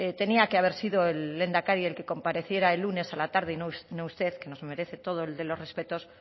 tenía que haber sido el lehendakari el que compareciera el lunes a la tarde y no usted que nos merece todo el de los respetos